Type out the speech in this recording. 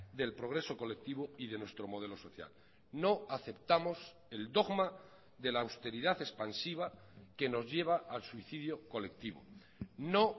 del progreso colectivo y de nuestro modelo social no aceptamos el dogma de la austeridad expansiva que nos lleva al suicidio colectivo no